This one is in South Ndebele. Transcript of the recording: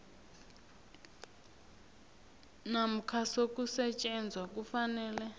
namkha sokusetjenzwa kufanele